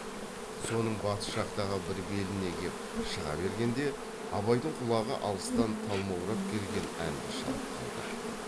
соның батыс жақтағы бір беліне кеп шыға бергенде абайдың құлағы алыстан талмаурап келген әнді шалып қалды